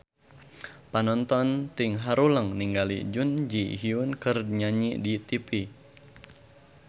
Panonton ting haruleng ningali Jun Ji Hyun keur nyanyi di tipi